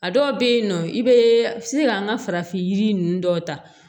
A dɔw bɛ yen nɔ i bɛ se ka an ka farafin yiri ninnu dɔw ta